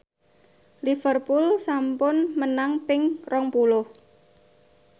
Liverpool sampun menang ping rong puluh